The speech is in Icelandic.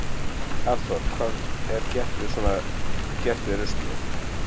Hafþór: Hvað er svo gert við ruslið?